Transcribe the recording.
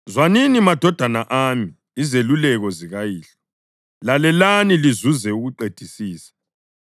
Zwanini, madodana ami, izeluleko zikayihlo; lalelani lizuze ukuqedisisa.